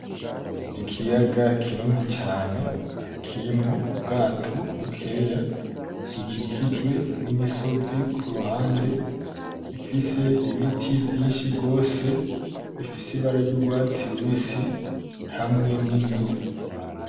Ikiyaga kinini cane kirimwo ubwato bukeya, gikikijwe n'umusozi k'uruhande ifise n'ibiti vyinshi gose bifise ibara ry'urwatsi rubisi hamwe n'inzu.